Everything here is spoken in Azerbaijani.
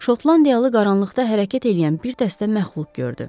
Şotlandiyalı qaranlıqda hərəkət eləyən bir dəstə məxluq gördü.